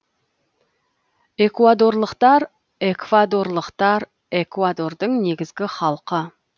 экуадорлықтар эквадорлықтар экуадордың негізгі халқы